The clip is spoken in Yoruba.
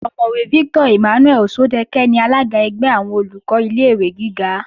Ọ̀mọ̀wẹ̀ Victor Emmanuel Òṣọ́dẹkẹ́ ni alága ẹgbẹ́ àwọn Olùkọ́ ilé-ìwé gíga